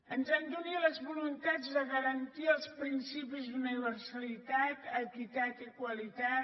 ens han d’unir les voluntats de garantir els principis d’universalitat equitat i qualitat